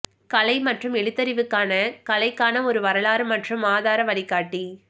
கலை மற்றும் எழுத்தறிவுக்கான கலைக்கான ஒரு வரலாறு மற்றும் ஆதார வழிகாட்டி